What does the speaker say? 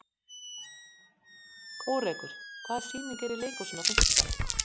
Kórekur, hvaða sýningar eru í leikhúsinu á fimmtudaginn?